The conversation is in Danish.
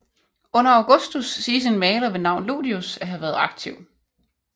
Under Augustus siges en maler ved navn Ludius at have været aktiv